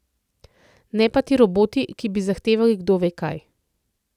Ne pa ti roboti, ki bi zahtevali kdo ve kaj.